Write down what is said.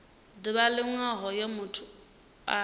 ḓuvha line hoyo muthu a